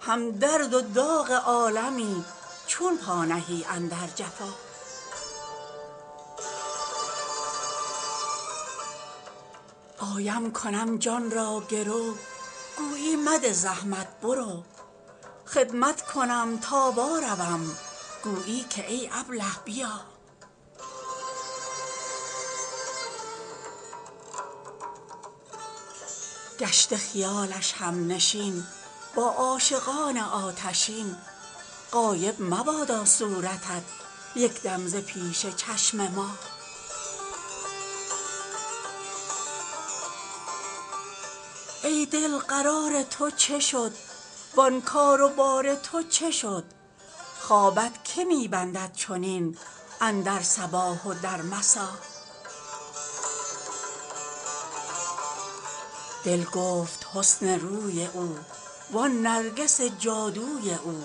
هم درد و داغ عالمی چون پا نهی اندر جفا آیم کنم جان را گرو گویی مده زحمت برو خدمت کنم تا واروم گویی که ای ابله بیا گشته خیال همنشین با عاشقان آتشین غایب مبادا صورتت یک دم ز پیش چشم ما ای دل قرار تو چه شد وان کار و بار تو چه شد خوابت که می بندد چنین اندر صباح و در مسا دل گفت حسن روی او وان نرگس جادوی او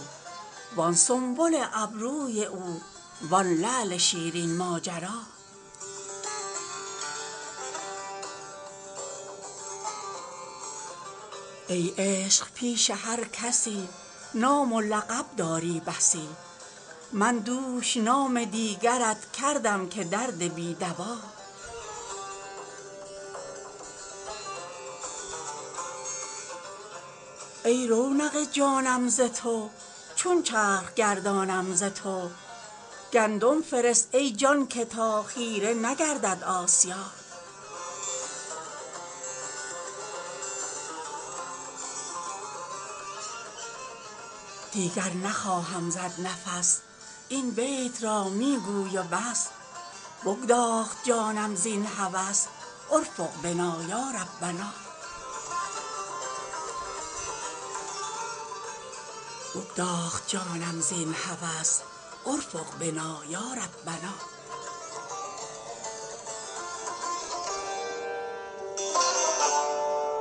وان سنبل ابروی او وان لعل شیرین ماجرا ای عشق پیش هر کسی نام و لقب داری بسی من دوش نام دیگرت کردم که درد بی دوا ای رونق جانم ز تو چون چرخ گردانم ز تو گندم فرست ای جان که تا خیره نگردد آسیا دیگر نخواهم زد نفس این بیت را می گوی و بس بگداخت جانم زین هوس ارفق بنا یا ربنا